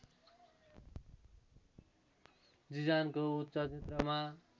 जिजानको उच्च क्षेत्रमा